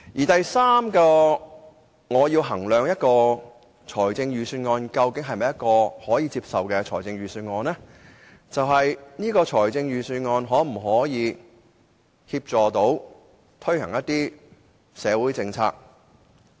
第三，當我衡量一份預算案是否可以接受時，我會考慮預算案可否協助推行社會政策。